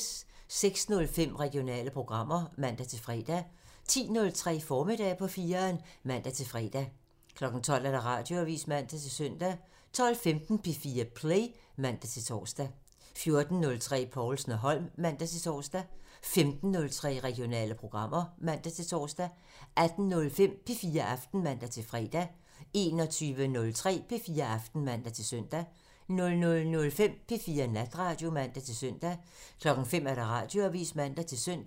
06:05: Regionale programmer (man-fre) 10:03: Formiddag på 4'eren (man-fre) 12:00: Radioavisen (man-søn) 12:15: P4 Play (man-tor) 14:03: Povlsen & Holm (man-tor) 15:03: Regionale programmer (man-tor) 18:05: P4 Aften (man-fre) 21:03: P4 Aften (man-søn) 00:05: P4 Natradio (man-søn) 05:00: Radioavisen (man-søn)